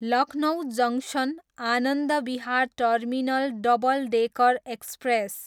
Lucknow junction, Anand Vihar terminal double decker express